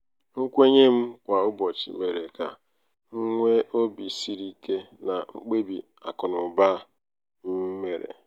nkwenye m kwa ụbọchị mere ka m nwee obi siri ike na mkpebi akụnaụba akụnaụba m mere.